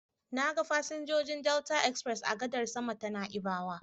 Na ga fasinjojin Delta express a gadar sama ta Na'ibawa.